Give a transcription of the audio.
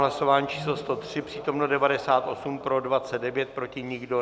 Hlasování číslo 103, přítomno 98, pro 29, proti nikdo.